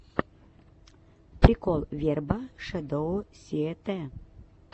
прикол верба шэдоу сиэтэ